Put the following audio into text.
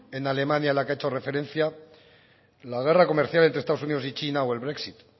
en alemania a la que ha hecho referencia la guerra comercial entre estados unidos y china o el brexit